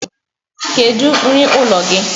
Kedu nri ụlọ gị?